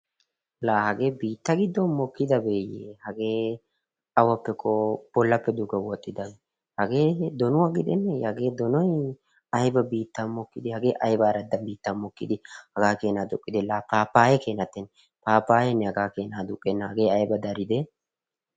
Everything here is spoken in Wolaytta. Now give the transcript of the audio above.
Laa hagee biitta giddon mokkidabeeyye! Hagee awankko bollappe duge woxxidaabee! Hagee donuwa gidenne hagee donoy ayba biittan mokkidee hagee ayba aradda biittan mokkidi aduqqidee? Pappayeenne hagaa kena ordenna hagee ayba daridee?